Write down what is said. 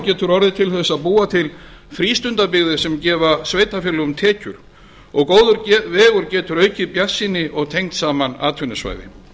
getur orðið til þess að búa til frístundabyggðir sem gefa sveitarfélögum tekjur og góður vegur getur aukið bjartsýni og tengt saman atvinnusvæði